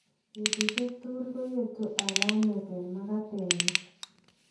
Betushek tugu koyetu alamet eng makate nyin.